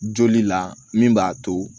Joli la min b'a to